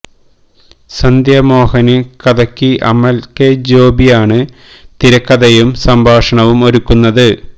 സന്ധ്യ മോഹന് കഥയ്ക്ക് അമല് കെ ജോബി ആണ് തിരക്കഥയും സംഭാഷണവും ഒരുക്കുന്നത്